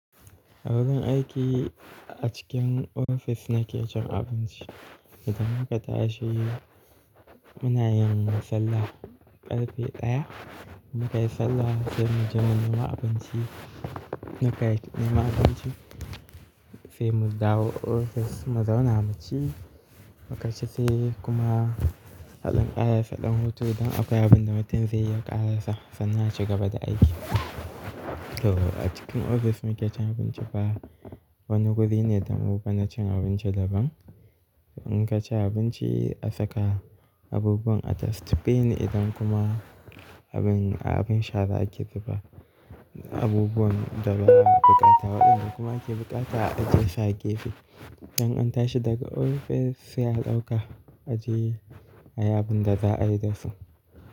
Agun aiki a cikin ofis na ke cin abinci. Idan muka tashi munayin sallah ƙarfe ɗaya, in muka yi sallah sai muje mu nema abinci. Muka yi nema abinci sai mu dawo ofis. Muzauna muci muka ci sai kuma aɗan ƙara sa ɗan hutu. Idan akwai abin da mutum zai yi ya ƙara sa sannan aci gaba da aiki. To a cikin ofis muke cin abinci ba wani wuri ne da mu bana cin abinci daban. In ka ci abinci a saka abubuwan a dustbin idan kuma abin, abin shara ake zuba abubuwan da ba, a buƙata. Waɗanda kuma ake buƙata a aje su gefe. In an tashi daga ofis sai a ɗauka a je ayi abin da za a yi dasu.